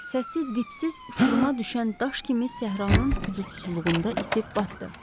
Səsi dipsiz uçuruma düşən daş kimi səhranın hüdudsuzluğunda itib batdı.